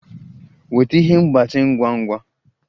Weta ihe mgbatị ngwa ngwa!